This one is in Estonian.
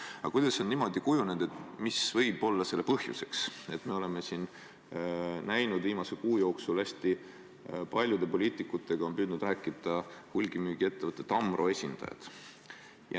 Aga kuidas on niimoodi kujunenud, mis võib olla selle põhjuseks, et me oleme siin viimase kuu jooksul näinud, et hästi paljude poliitikutega on püüdnud rääkida hulgimüügiettevõtte Tamro esindajad?